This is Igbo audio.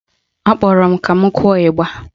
Akpọrọ m ka m kụọ ịgba